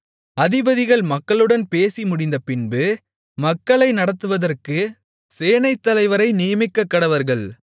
அதிபதிகள் மக்களுடன் பேசி முடிந்தபின்பு மக்களை நடத்துவதற்கு சேனைத்தலைவரை நியமிக்கக்கடவர்கள்